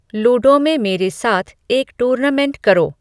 ludo में मेरे साथ एक टूर्नामेंट करो